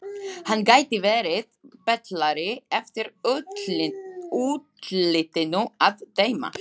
Hann gæti verið betlari eftir útlitinu að dæma.